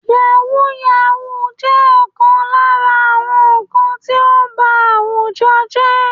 Yahooyahoo jẹ́ ọ̀kan lára àwọn nǹkan tí ó ń ba àwùjọ jẹ́